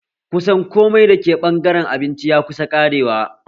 Kusan komai da ke ɓangaren abinci ya kusa ƙarewa